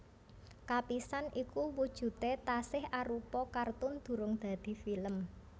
Kapisan iku wujudé tasih arupa kartun durung dadi film